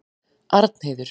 Arnheiður